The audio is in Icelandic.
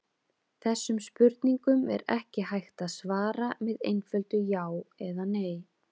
Þessum spurningum er ekki hægt að svara með einföldu já eða nei.